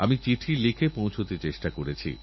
সোনারুপো এবং ব্রোঞ্জের বর্ষণ হোক